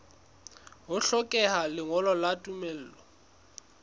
ho hlokeha lengolo la tumello